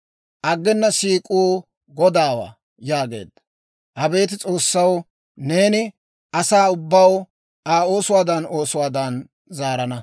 Aggena siik'uu Godaawaa» yaageedda. Abeet S'oossaw, neeni asaa ubbaw Aa oosuwaadan oosuwaadan zaarana.